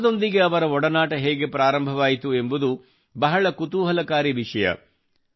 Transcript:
ಭಾರತದೊಂದಿಗೆ ಅವರ ಒಡನಾಟ ಹೇಗೆ ಪ್ರಾರಂಭವಾಯಿತು ಎಂಬುದು ಬಹಳ ಕುತೂಹಲಕಾರಿ ವಿಷಯವಾಗಿದೆ